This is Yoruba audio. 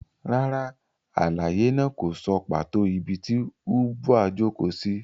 Rárá, àlàyé náà kò sọ pàtó ibi tí Ubwa jókòó sí.